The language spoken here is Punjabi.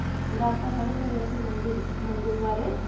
ਜਿਹੜਾ ਆਪਾਂ ਕੱਲ ਕਰੇਇ ਸੀ ਮੰਦਿਰ~ ਮੰਦਿਰ ਬਾਰੇ,